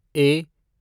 ए